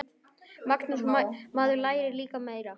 Magnús: Maður lærir líka meira.